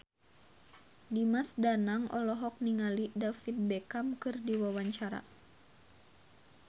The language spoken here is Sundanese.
Dimas Danang olohok ningali David Beckham keur diwawancara